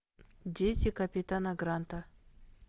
дети капитана гранта